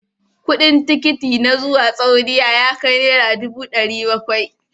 Kudin tikiti na zuwa Saudiya ya kai Naira dubu dari Bakwai.